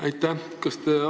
Aitäh!